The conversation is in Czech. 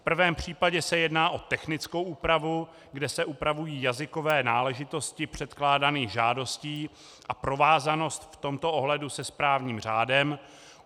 V prvém případě se jedná o technickou úpravu, kde se upravují jazykové náležitosti předkládaných žádostí a provázanost v tomto ohledu se správním řádem.